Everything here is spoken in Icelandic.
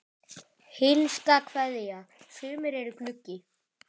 HINSTA KVEÐJA Sumir eru gluggi.